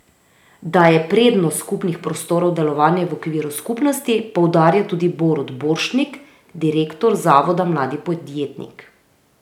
Da je prednost skupnih prostorov delovanje v okviru skupnosti, poudarja tudi Borut Borštnik, direktor Zavoda mladi podjetnik.